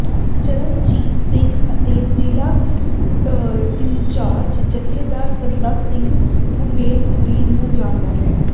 ਚਰਨਜੀਤ ਸਿੰਘ ਅਤੇ ਜ਼ਿਲ੍ਹਾ ਇੰਚਾਰਜ ਜਥੇਦਾਰ ਸੰਤਾ ਸਿੰਘ ਉਮੈਦਪੁਰੀ ਨੂੰ ਜਾਂਦਾ ਹੈ